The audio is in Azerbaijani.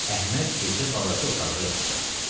Əhməd gecə balaca otaqda yatdı.